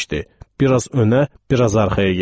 Biraz önə, biraz arxaya getdi.